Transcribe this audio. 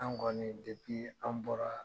An kɔni an bɔra